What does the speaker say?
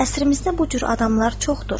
Əsrimizdə bu cür adamlar çoxdur.